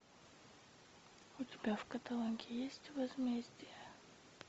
у тебя в каталоге есть возмездие